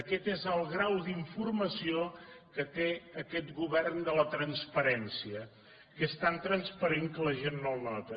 aquest és el grau d’informació que té a quest govern de la transparència que és tan transparent que la gent no el nota